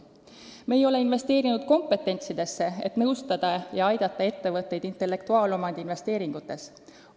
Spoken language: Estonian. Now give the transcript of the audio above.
Me ei ole investeerinud kompetentsidesse, et nõustada ja aidata muul moel ettevõtteid intellektuaalomandi investeeringutes.